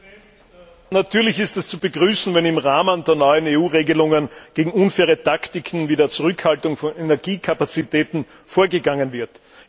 Herr Präsident! Natürlich ist es zu begrüßen, wenn im Rahmen der neuen EU Regelungen gegen unfaire Taktiken wie die Zurückhaltung von Energiekapazitäten vorgegangen wird.